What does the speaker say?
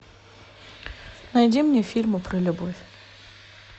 найди мне фильмы про любовь